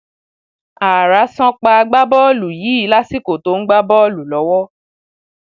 ààrá san pa agbábọọlù yìí lásìkò tó ń gbá bọọlù lọwọ